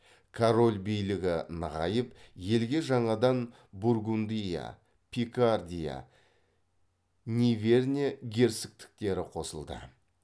король билігі нығайып елге жаңадан бургундия пикардия ниверне герцогтіктері қосылды